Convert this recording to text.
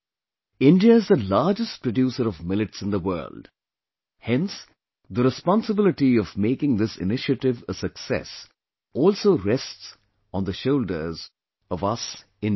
India is the largest producer of Millets in the world; hence the responsibility of making this initiative a success also rests on the shoulders of us Indians